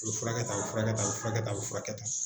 O bɛ furakɛ ka tan a bɛ furakɛ tan a bɛ furakɛ tan a bɛ furakɛ tan